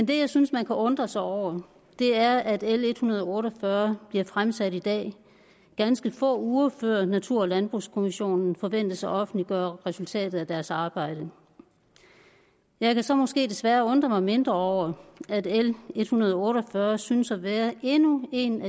det jeg synes man kan undre sig over er at l en hundrede og otte og fyrre bliver fremsat i dag ganske få uger før natur og landbrugskommissionen forventes at offentliggøre resultatet af deres arbejde jeg kan så måske desværre undre mig mindre over at at l en hundrede og otte og fyrre synes at være endnu en